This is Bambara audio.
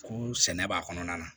Ko sɛnɛ b'a kɔnɔna na